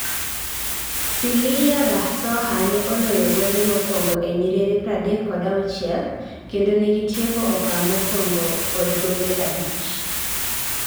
Siliya Rasoha ne oloyo gonde mokuongo e nyiriri pradek kod auchiel, kendo negitieko okang mokuongo kodgonde abich